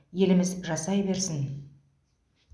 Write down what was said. еліміз жасай берсін